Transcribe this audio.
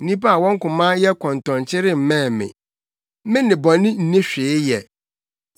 Nnipa a wɔn koma yɛ kɔntɔnkye remmɛn me; me ne bɔne nni hwee yɛ.